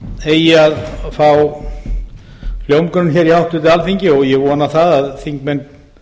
eigi að fá hljómgrunn hér í háttvirtu alþingi og ég vona að þingmenn